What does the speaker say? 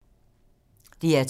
DR2